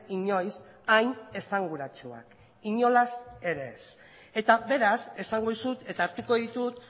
inoiz hain esanguratsuak inolaz ere ez eta beraz esango dizut eta hartuko ditut